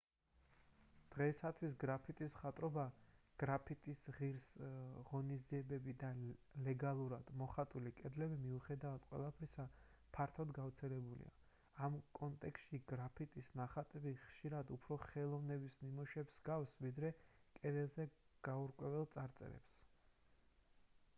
დღეისთვის გრაფიტის მხატვრობა გრაფიტის ღონისძიებები და ლეგალურად მოხატული კედლები მიუხედავად ყველაფრისა ფართოდ გავრცელებულია ამ კონტექსტში გრაფიტის ნახატები ხშირად უფრო ხელოვნების ნამუშევრებს ჰგავს ვიდრე კედელზე გაურკვეველ წარწერებს